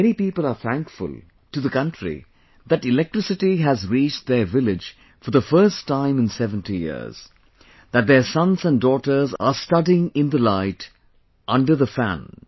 Many people are thankful to the country that electricity has reached their village for the first time in 70 years, that their sons and daughters are studying in the light, under the fan